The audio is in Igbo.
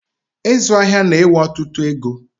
Ịzụ ahịa na ewe ọtụtụ égo